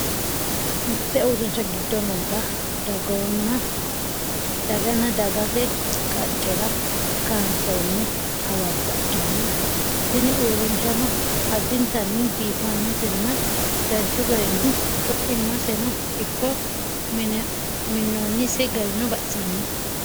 mitte urrinsha giddo noota dooganna dooggate qaccera kaansoonni awabba ikkitanna. tini uurrinshano addintanni biiffannotenna danchu garinni coimaseno ikko minnoonnise garino baxisannoho.